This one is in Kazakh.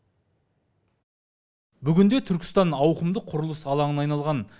бүгінде түркістан ауқымды құрылыс алаңына айналған